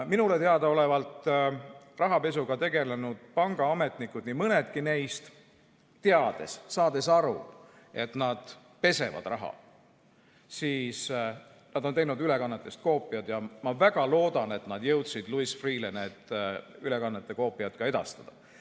Minule teadaolevalt on rahapesuga tegelenud pangaametnikud, nii mõnedki neist, teades, saades aru, et nad pesevad raha, teinud ülekannetest koopiad ja ma väga loodan, et nad jõudsid Louis Freeh'le need ülekannete koopiad ka edastada.